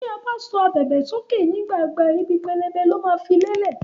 Tí a ba sọ ábèbè sókè nígbà ìgbà, ìbí pẹlẹbẹ lo ma fí le'lẹ.